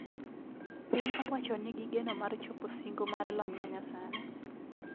Piny owacho ni gi geno mar chopo singo mar lony manyasani